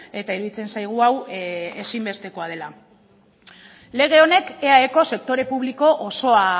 eta iruditzen zaigu hau ezinbestekoa dela lege honek eaeko sektore publiko osoa